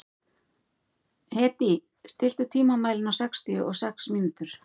Hedí, stilltu tímamælinn á sextíu og sex mínútur.